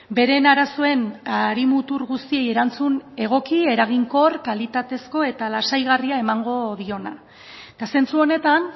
beren arazoen harimutur guztiei erantzun egoki eraginkor kalitatezko eta lasaigarria emango diona eta zentzu honetan